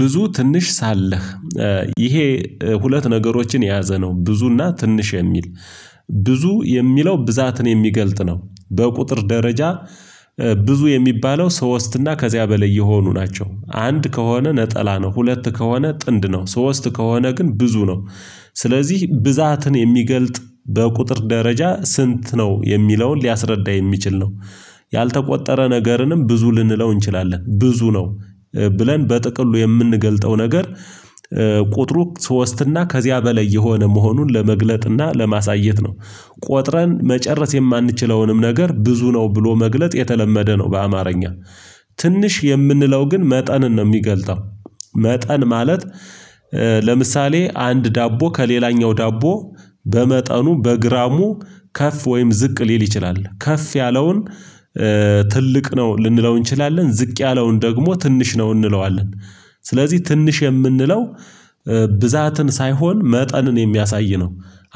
ብዙ ትንሽ ሳለህ ይሄ ሁለት ነገሮችን የያዘ ነው ብዙና ትንሽ የሚል ብዙ የሚለው ብዛትን የሚገልጥ ነው በቁጥር ደረጃ። ብዙ የሚባለው ሶስት እና ከዚያ በላይ የሆኑ ናቸው አንድ ከሆነ ነጠላ ነው ሁለት ከሆነ ጥንድ ነው ሶስት ከሆነ ግን ብዙ ነው። ስለዚህ ብዛትን የሚገልጥ በቁጥር ደረጃ ስንት ነው የሚለውን ሊያስረዳ የሚችል ነው። ያልተቆጠረ ነገርንም ብዙ ልንለው እንችላለን ብዙ ነው። ብለን በጥቅሉ የምንገልጠው ነገር ቁጥሩ ሶስት እና ከዚያ በላይ የሆነ መሆኑን ለመግለጥ እና ለማሳየት ነው። ቆጥረን መጨረስ የማንችለውንም ነገር ብዙ ነው ብሎ መግለጥ የተለመደ ነው። በአማርኛ ትንሽ የምንለው ግን መጠንን ነው የሚገልጸው። መጠን ማለት። ለምሳሌ አንድ ዳቦ ከሌላኛው ዳቦ በመጠኑ በግራሙ ከፍ ወይም ዝቅ ሊል ይችላል ከፍ ያለውን ትልቅ ነው ልንለው እንችላለን ዝቅ ያለውን ደግሞ ትንሽ ነው እንለዋለን። ስለዚህ ትንሽ የምንለው ብዛትን ሳይሆን መጠንን የሚያሳይ ነው።